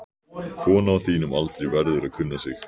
Kona á þínum aldri verður að kunna sig.